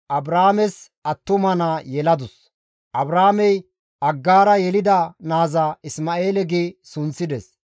Aggaara Abraames attuma naa yeladus; Abraamey Aggaara yelida naaza Isma7eele gi sunththides.